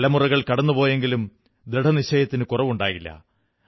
തലമുറകൾ കടന്നുപോയെങ്കിലും ദൃഢനിശ്ചയത്തിന് കുറവുണ്ടായില്ല